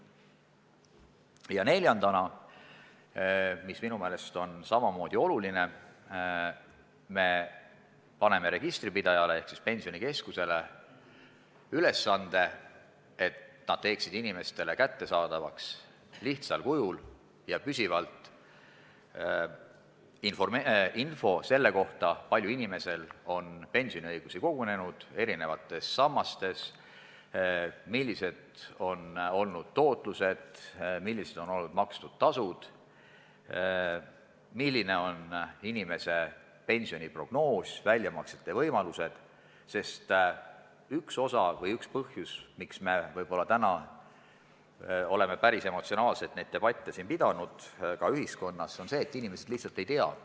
Ja neljandaks, mis minu meelest on samavõrra oluline, paneme registripidajale ehk Pensionikeskusele ülesande, et inimestele tehtaks lihtsal kujul ja püsivalt kättesaadavaks info selle kohta, kui palju tal on eri sammastesse pensioni kogunenud, milline on olnud tootlus, millised on olnud makstud tasud, milline on inimese pensioni prognoos ja millised on väljamaksete võimalused, sest üks põhjus, miks me täna oleme neid debatte siin – ka ühiskonnas laiemalt – üsna emotsionaalselt pidanud, võib olla see, et inimesed lihtsalt ei tea.